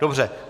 Dobře.